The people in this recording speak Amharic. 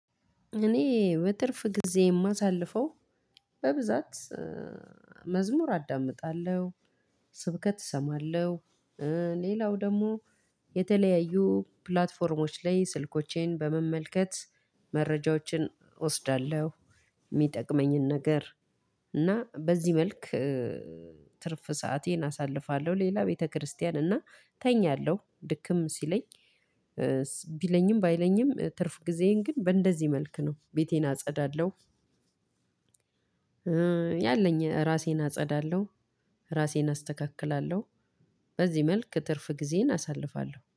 እኔ በትርፍ ጊዜ የማሳልፈው በብዛት መዝሙር አዳምጣለሁ ስብከት እሰማለሁ። ሌላው ደግሞ የተለያዩ ፕላትፎርሞች ላይ ስልኮቼን በመመልከት መረጃዎችን እወስዳለሁ። የሚጠቅመኝን ነገር እና በዚህ መልክ ትርፍ ሰአቴን አሳልፋለሁ። ሌላ ቤተክርስቲያን እና እተኛለሁ ድክም ሲለኝ። ቢለኝም ባይለኝም ትርፍ ጊዜዬን ግን በእንደዚህ መልክ ነው ቤቴን አጸዳለሁ። ያለኝ ራሴን አጸዳለሁ ራሴን አስተካክላለሁ። በዚህ መልክ ትርፍ ጊዜዬን አሳልፋለሁ